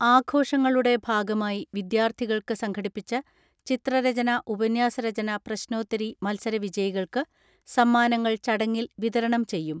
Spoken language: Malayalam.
ആഘോഷങ്ങളുടെ ഭാഗമായി വിദ്യാർത്ഥികൾക്ക് സംഘടിപ്പിച്ച ചിത്രരചന, ഉപന്യാസരചന, പ്രശ്നോത്തരി മത്സരവിജയികൾക്ക് സമ്മാനങ്ങൾ ചടങ്ങിൽ വിത രണം ചെയ്യും.